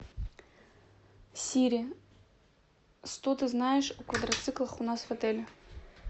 сири что ты знаешь о квадроциклах у нас в отеле